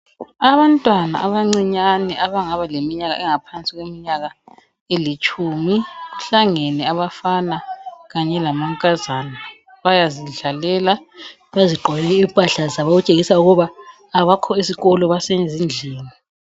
Abantwana abncinyane abangaba leminyaka engaphansi kweminyaka elitshumi, kuhlangene abafana kanye lamankazana bayazidlalela bezigqokele impahla zabo okutshengisa ukuba abakho esikolo basezindlini.